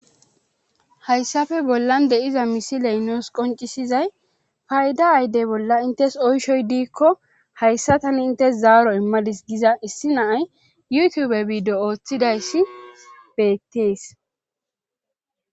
hayssape bollan de7iza misiley nuus qoncisizay payda ayde bolla intes oyshoy diikko hayssa tani intes zaaro immadis giza issi naay yutube biido ooththidayssi beettees